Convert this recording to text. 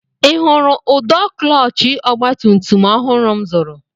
I hụrụ ụdọ klọọchị ọgbatumtum ọhụrụ m zụrụ?